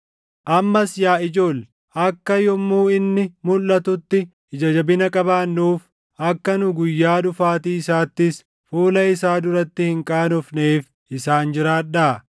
Ammas yaa ijoolle, akka yommuu inni mulʼatutti ija jabina qabaannuuf, akka nu guyyaa dhufaatii isaattis fuula isaa duratti hin qaanofneef isaan jiraadhaa.